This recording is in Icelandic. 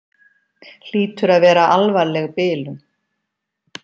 Hlýtur að vera alvarleg bilun.